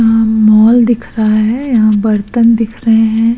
यहाँ मॉल दिख रहा है। यहाँ बर्तन दिख रहे हैं।